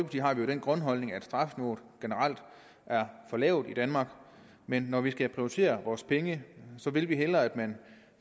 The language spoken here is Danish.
har vi den grundholdning at strafniveauet generelt er for lavt i danmark men når vi skal prioritere vores penge vil vi hellere at man